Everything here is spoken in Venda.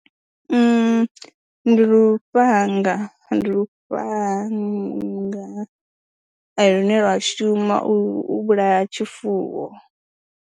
Ndi lufhanga, ndi lufhanga lune lwa shuma u vhulaya tshifuwo.